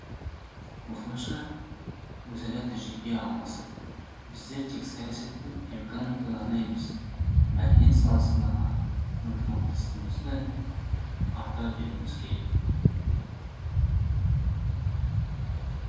осылайша өзара тәжірибе алмасып біздер тек саясат пен экономикада ғана емес мәдениет саласындағы ынтымақтастығымызды арттыра беруіміз керек